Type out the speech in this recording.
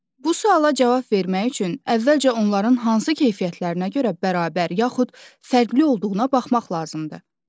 Bu suala cavab vermək üçün əvvəlcə onların hansı keyfiyyətlərinə görə bərabər, yaxud fərqli olduğuna baxmaq lazımdır.